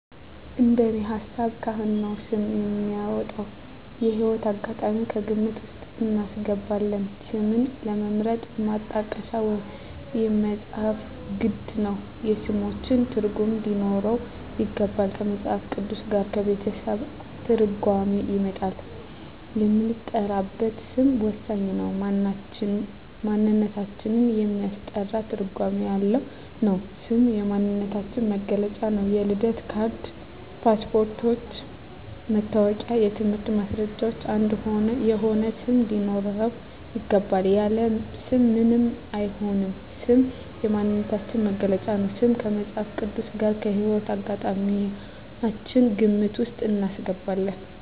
እንደኔ ሀሳብ ካህን ነው ስም የሚያወጣው። የህይወት አጋጣሚም ከግምት ውስጥ እናስገባለን ስምን ለመምረጥ ማጣቀሻ ወይም መፅሀፍት ግድ ነው የስሞችን ትርጉም ሊኖረው ይገባል ከመፅሀፍ ቅዱስ ጋር ከቤተሰብ ትርጓሜ ይወጣል የምንጠራበት ስም ወሳኝ ነው ማንነታችን የሚያስጠራ ትርጓሜ ያለው ነው ስም የማንነታችን መግለጫ ነው የልደት ካርድ ,ፓስፓርቶች ,መታወቂያ የትምህርት ማስረጃችን አንድ የሆነ ስም ሊኖረው ይገባል። ያለ ስም ምንም አይሆንም ስም የማንነታችን መገለጫ ነው። ስማችን ከመፅሀፍ ቅዱስ ጋር ከህይወት አጋጣሚያችን ግምት ውስጥ እናስገባለን